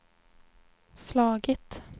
slagit